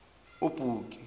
ubuki